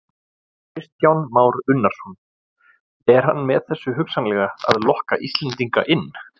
Kristján Már Unnarsson: Er hann með þessu hugsanlega að lokka Íslendinga inn?